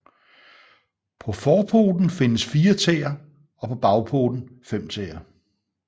På forpoten findes fire tæer og på bagpoten fem tæer